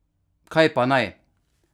Kaj pa naj?